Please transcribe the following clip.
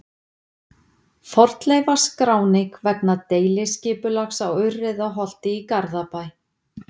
Fornleifaskráning vegna deiliskipulags á Urriðaholti í Garðabæ.